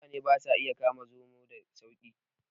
Mutane ba sa iya kama zomaye sa sauki